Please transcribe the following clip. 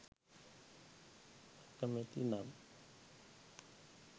අකමැති නම්